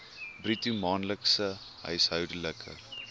bruto maandelikse huishoudelike